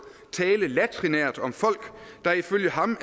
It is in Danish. tale latrinært om folk der ifølge ham